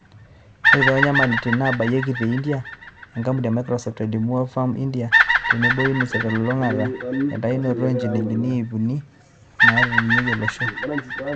Ore toonyamalitin naabayieki te India, enkampuni e Microsoft eimu Oxfam India o tenebo Unicef telulungata eitayutuo njilingini iip uni naaretunyia ilo osho.